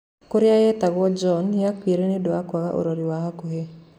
Huria yetagwo John yakuire niundu wa kwaga urori wa hakuhi